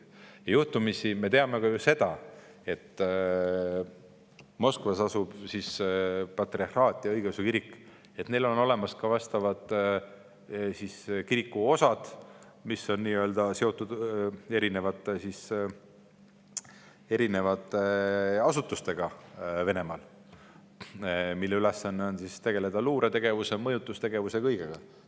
Juhtumisi me teame ju ka seda, et Moskvas asub patriarhaat ja õigeusu kirikul on olemas ka osakonnad, mis on seotud Venemaal asutustega, mille ülesanne on tegeleda luuretegevuse ja mõjutustegevusega.